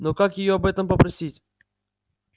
но как её об этом попросить